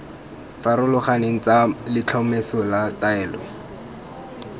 farologaneng tsa letlhomeso la taolo